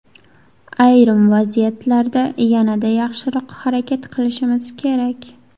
Ayrim vaziyatlarda yanada yaxshiroq harakat qilishimiz kerak.